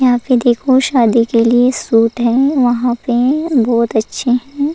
यहाँ पे देखो शादी के लिए सूट है वहाँ पे बहुत अच्छे हैं।